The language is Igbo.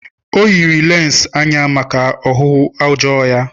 O yiri lense anya maka ọhụhụ ọjọọ ya.